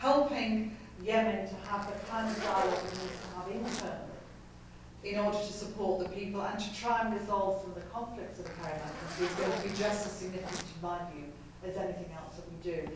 helping Yemen to have the type of dialogue it needs to have internally in order to support the people and to try and resolve some of the conflicts which occur in that country is going to be just as significant in my view as anything else we do.